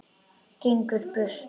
Gengur burt.